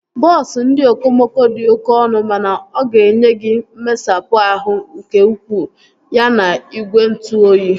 Bọọsu ndị okomoko dị oké ọnụ mana oga enye gị mmesapụ ahụ nke ukwuu ya na igwe ntụ oyi